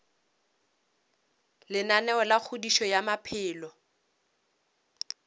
lenaneo la kgodišo ya maphelo